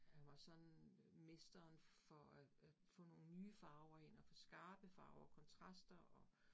Han var sådan øh mesteren for at at få nogle nye farver ind, og få skarpe farver, kontraster og